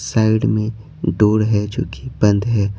Side में door है जो कि बंद है।